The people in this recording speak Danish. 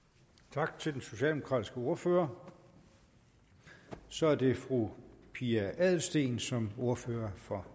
tak til den socialdemokratiske ordfører så er det fru pia adelsteen som ordfører for